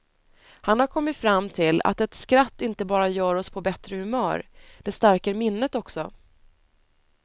Han har kommit fram till att ett skratt inte bara gör oss på bättre humör, det stärker minnet också.